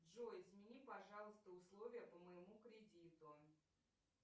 джой измени пожалуйста условия по моему кредиту